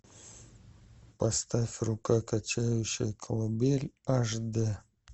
поставь рука качающая колыбель аш д